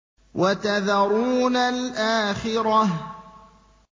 وَتَذَرُونَ الْآخِرَةَ